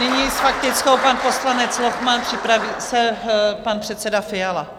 Nyní s faktickou pan poslanec Lochman, připraví se pan předseda Fiala.